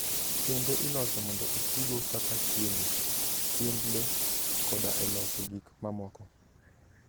Kembe iloso mondo otigo kaka chiemo, chiemb le, koda e loso gik mamoko.